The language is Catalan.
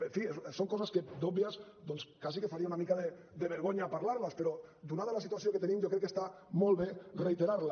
en fi són coses que d’òbvies doncs quasi que faria una mica de vergonya parlar les però donada la situació que tenim jo crec que està molt bé reiterar les